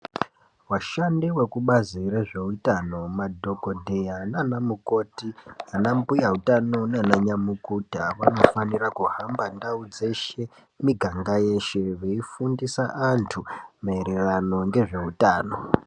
Washandi wezvekubazi rezveutano madhokodheya naanamukoti ana mbuya utano naana nyamukuta vanofanira kuhamba ndau dzeshe miganga yeshe veifundisa antu maererano ngezveutano .